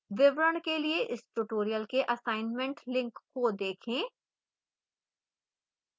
विवरण के लिए इस tutorial के assignment link को देखें